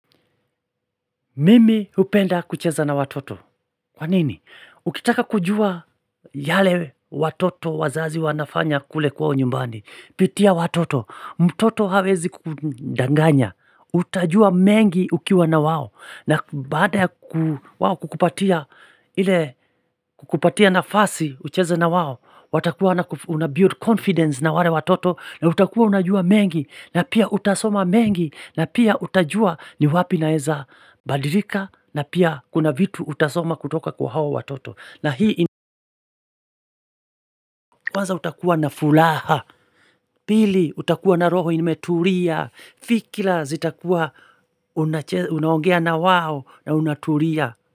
Mimi hupenda kucheza na watoto, kwa nini? Ukitaka kujua yale watoto wazazi wanafanya kule kwao nyumbani pitia watoto, mtoto hawezi kukudanganya Utajua mengi ukiwa na wao na baada ya ku wao kukupatia kukupatia nafasi ucheze na wao watakuwa wanaku unabuild confidence na wale watoto na utakuwa unajua mengi na pia utasoma mengi na pia utajua ni wapi naeza badilika na pia kuna vitu utasoma kutoka kwa hawa watoto na hii i kwanza utakuwa na furaha Pili utakuwa na roho imetulia fikira zitakuwa unaongea na wao na unatulia.